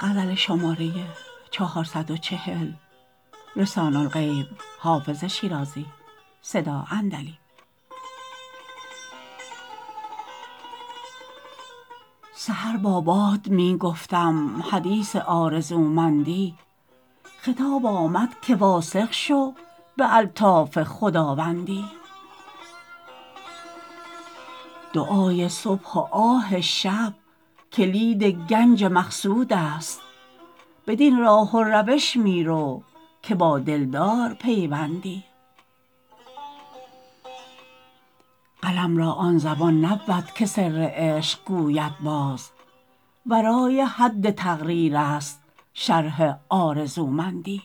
سحر با باد می گفتم حدیث آرزومندی خطاب آمد که واثق شو به الطاف خداوندی دعای صبح و آه شب کلید گنج مقصود است بدین راه و روش می رو که با دلدار پیوندی قلم را آن زبان نبود که سر عشق گوید باز ورای حد تقریر است شرح آرزومندی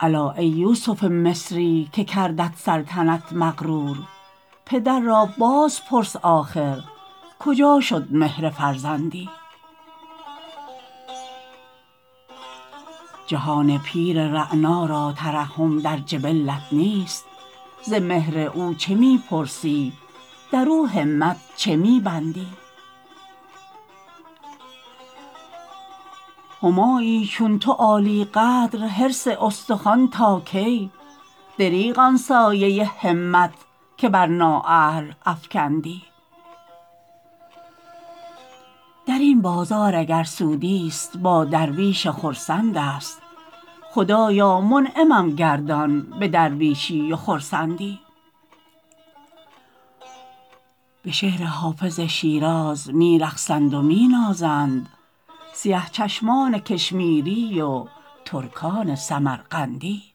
الا ای یوسف مصری که کردت سلطنت مغرور پدر را باز پرس آخر کجا شد مهر فرزندی جهان پیر رعنا را ترحم در جبلت نیست ز مهر او چه می پرسی در او همت چه می بندی همایی چون تو عالی قدر حرص استخوان تا کی دریغ آن سایه همت که بر نااهل افکندی در این بازار اگر سودی ست با درویش خرسند است خدایا منعمم گردان به درویشی و خرسندی به شعر حافظ شیراز می رقصند و می نازند سیه چشمان کشمیری و ترکان سمرقندی